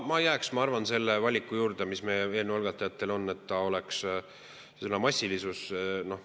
Ma jääksin, ma arvan, selle valiku juurde, mis eelnõu algatajatel on: et oleks sõna "massilisus".